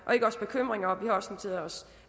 vi har også noteret os